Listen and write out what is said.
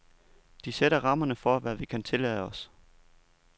De sætter rammerne for, hvad vi kan tillade os.